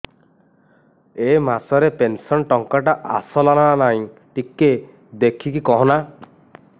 ଏ ମାସ ରେ ପେନସନ ଟଙ୍କା ଟା ଆସଲା ନା ନାଇଁ ଟିକେ ଦେଖିକି କହନା